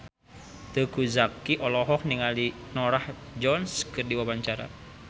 Teuku Zacky olohok ningali Norah Jones keur diwawancara